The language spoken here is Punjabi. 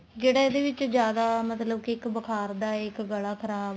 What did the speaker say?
ਜਿਹੜਾ ਇਹਦੇ ਵਿੱਚ ਜਿਆਦਾ ਮਤਲਬ ਕੇ ਬੁਖਾਰ ਦਾ ਇੱਕ ਗਲਾ ਖਰਾਬ